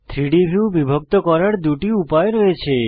3ডি ভিউ বিভক্ত করার দুটি উপায় রয়েছে